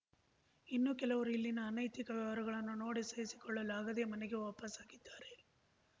ಇನ್ನು ಕೆಲವರು ಇಲ್ಲಿನ ಅನೈತಿಕ ವ್ಯವಹಾರಗಳನ್ನು ನೋಡಿ ಸಹಿಸಿಕೊಳ್ಳಲು ಆಗದೆ ಮನೆಗೆ ವಾಪಾಸ್ಸಾಗಿದ್ದಾರೆ